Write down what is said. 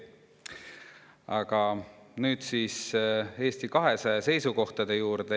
Aga nüüd siis Eesti 200 seisukohtade juurde.